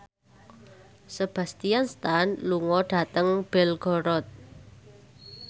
Sebastian Stan lunga dhateng Belgorod